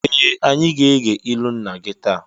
Ee! Anyị ga-ege ilu nna gị taa.